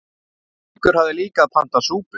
Haukur hafði líka pantað súpu.